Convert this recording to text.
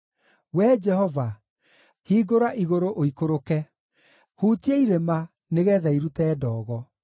Wee Jehova, hingũra igũrũ ũikũrũke; hutia irĩma, nĩgeetha irute ndogo.